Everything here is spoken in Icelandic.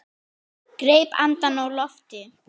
Greip andann á lofti.